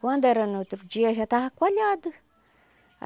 Quando era no outro dia já estava coalhado.